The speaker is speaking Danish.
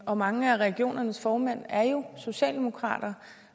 og mange af regionernes formænd er jo socialdemokrater